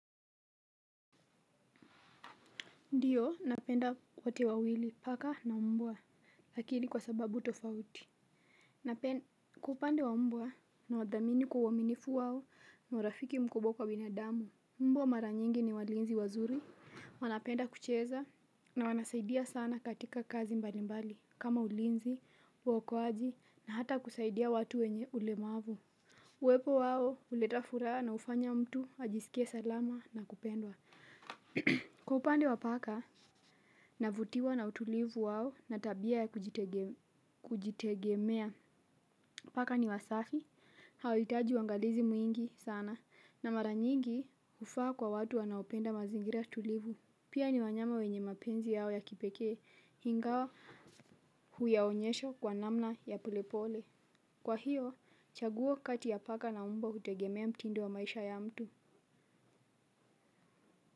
Ndiyo, napenda wote wawili, paka na mbwa, lakini kwa sababu tofauti. Kwa upande wa mbwa nawadhamini kuwaminifu wao na urafiki mkubwa kwa binadamu. Mbwa mara nyingi ni walinzi wazuri. Wanapenda kucheza na wanasaidia sana katika kazi mbali mbali. Kama ulinzi, wakoaji na hata kusaidia watu wenye ulemavu. Uwepo wao, uleta furaa na ufanya mtu, ajisikie salama na kupendwa. Kupande wa paka. Navutiwa na utulivu wao na tabia ya kujitegemea. Paka ni wasafi, hawitaji wangalizi mwingi sana na maranyingi ufaa kwa watu wanaopenda mazingira tulivu. Pia ni wanyama wenye mapenzi yao ya kipekee hingawa huyaonyesho kwa namna ya polepole. Kwa hiyo, chaguwo kati ya paka na umbwa utegemea mtindo wa maisha ya mtu.